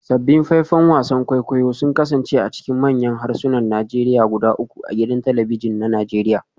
Sabbin faifan wasan kwaikwayo sun kasance a cikin manyan harsunan Najeriya guda uku a gidan talabijin na Najeriya